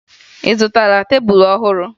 Ị zụtara tebulu ọhụrụ?